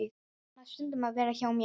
En hann á stundum að vera hjá mér.